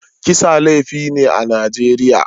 Kisa laifi ne a Najeriya.